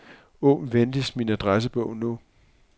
Åbn venligst min adressebog nu.